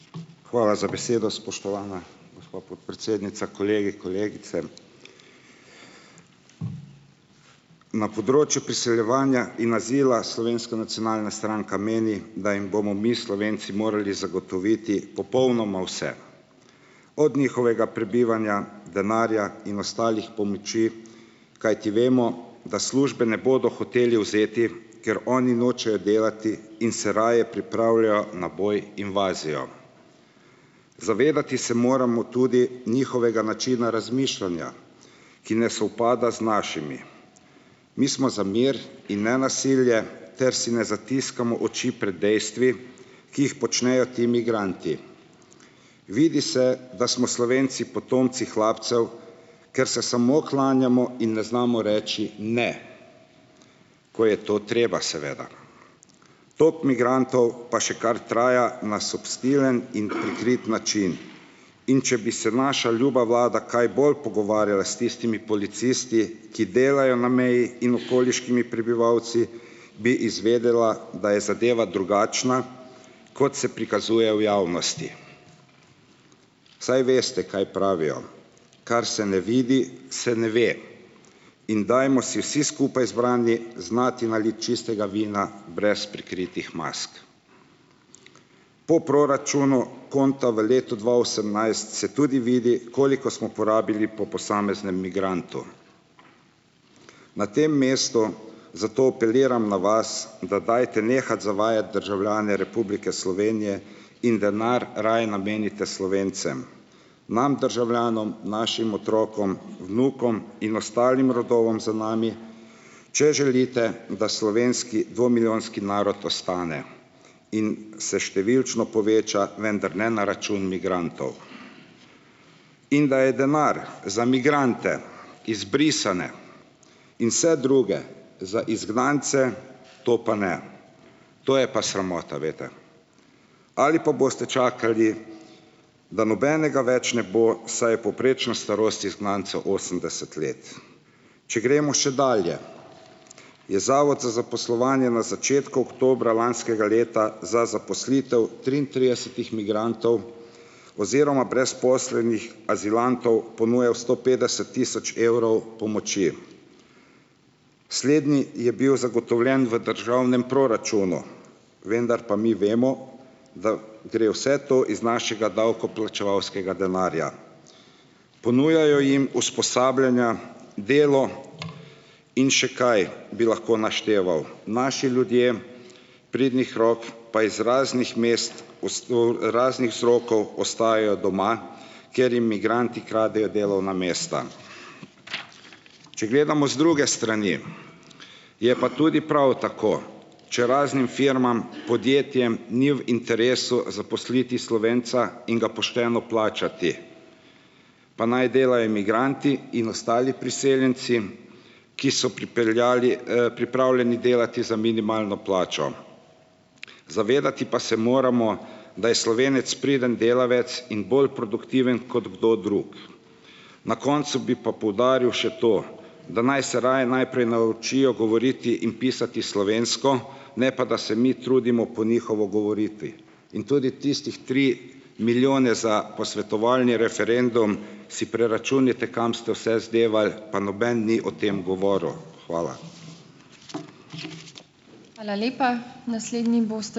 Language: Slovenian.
Hvala za besedo, spoštovana gospa podpredsednica, kolegi, kolegice! Na področju priseljevanja in azila Slovenska nacionalna stranka meni, da bomo mi Slovenci morali zagotoviti popolnoma vse. Od njihovega prebivanja, denarja in ostalih pomoči, kajti vemo, da službe ne bodo hoteli vzeti, ker oni nočejo delati in se raje pripravljajo na boj, invazijo. Zavedati se moramo tudi njihovega načina razmišljanja, ki ne sovpada z našimi. Mi smo za mir in nenasilje ter si ne zatiskamo oči pred dejstvi, ki jih počnejo ti migranti. Vidi se, da smo Slovenci potomci hlapcev, ker se samo klanjamo in ne znamo reči ne! Ko je to treba, seveda. Tako migrantov pa še kar traja na subtilen in prikrit način. In če bi se naša ljuba vlada kaj bolj pogovarjala s tistimi policisti, ki delajo na meji in okoliškimi prebivalci, bi izvedela, da je zadeva drugačna, kot se prikazuje v javnosti. Saj veste kaj pravijo: kar se ne vidi, se ne ve. In dajmo si vsi skupaj zbrani znati naliti čistega vina brez prikritih mask. Po proračunu konta v letu dva osemnajst se tudi vidi, koliko smo porabili po posameznem migrantu. Na tem mestu zato apeliram na vas, da dajte nehati zavajati državljane Republike Slovenije in denar raje namenite Slovencem. Nam državljanom, našim otrokom, vnukom in ostalim rodovom za nami, če želite, da slovenski dvomilijonski narod ostane in se številčno poveča, vendar ne na račun migrantov. In da je denar za migrante, izbrisane in druge, za izgnance, to pa ne. To je pa sramota, veste. Ali pa boste čakali, da nobenega več ne bo, saj je povprečna starost izgnancev osemdeset let. Če gremo še dalje, je Zavod za zaposlovanje na začetku oktobra lanskega leta za zaposlitev triintridesetih migrantov oziroma brezposelnih azilantov ponujal sto petdeset tisoč evrov pomoči. Slednji je bil zagotovljen v državnem proračunu, vendar pa mi vemo, da gre vse to iz našega davkoplačevalskega denarja. Ponujajo jim usposabljanja, delo in še kaj bi lahko našteval. Naši ljudje, pridnih rok pa iz raznih mest raznih vzrokov ostajajo doma, ker jim migranti kradejo delovna mesta. Če gledamo z druge strani, je pa tudi prav tako. Če raznim firmam, podjetjem ni v interesu zaposliti Slovenca in ga pošteno plačati, pa naj delajo migranti in ostali priseljenci, ki so pripeljali, pripravljeni delati za minimalno plačo. Pa se moramo zavedati, da je Slovenec priden delavec in bolj produktiven kot kdo drug. Na koncu bi pa poudaril še to, da naj se raje najprej naučijo govoriti in pisati slovensko, ne pa da se mi trudimo po njihovo govoriti. In tudi tistih tri milijone za posvetovalni referendum si preračunajte, kam ste vse zdevali, pa noben ni o tem govoril. Hvala. Hvala lepa. Naslednji ...